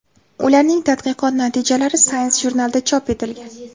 Ularning tadqiqot natijalari Science jurnalida chop etilgan.